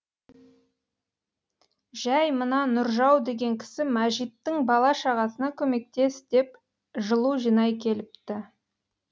жай мына нұржау деген кісі мәжиттің бала шағасына көмектес деп жылу жинай келіпті